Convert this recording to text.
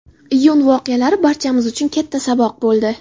Iyun voqealari barchamiz uchun katta saboq bo‘ldi.